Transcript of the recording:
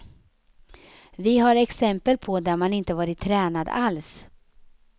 Vi har exempel på där man inte varit tränad alls.